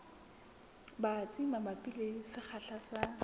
batsi mabapi le sekgahla sa